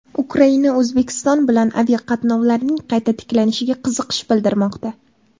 Ukraina O‘zbekiston bilan aviaqatnovlarning qayta tiklanishiga qiziqish bildirmoqda.